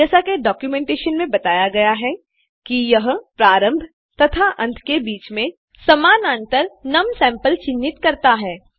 जैसा की डॉक्यूमेंटेशन मे बताया गया है कि यह प्रारंभ तथा अंत के बीच में समानांतर नुम सैंपल चिन्हित करता है